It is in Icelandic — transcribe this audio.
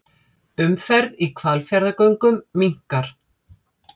Umferð í Hvalfjarðargöngum minnkar